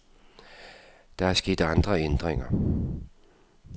Der er sket andre ændringer.